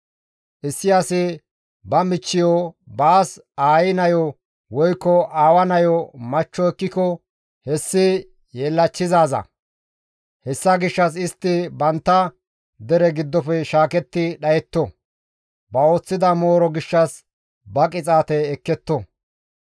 « ‹Issi asi ba michchiyo, baas aayi nayo woykko aawa nayo machcho ekkiko hessi yeellachchizaaza; hessa gishshas istti bantta dere giddofe shaaketti dhayetto; ba ooththida mooro gishshas ba qixaate ekketto.